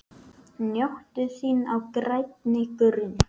Njóttu þín á grænni grund.